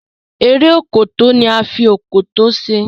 Eré Òkòtó ní a fí Òkòtó ṣe